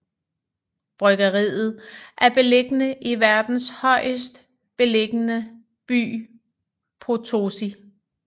Bryggeriet er beliggende i verdens højest beliggende by Potosí